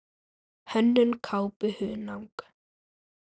Hönnun kápu: Hunang.